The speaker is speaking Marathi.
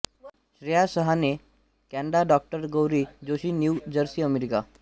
श्रेया शहाणे कॅनडा डॉ Gauri Joshi New Jersey America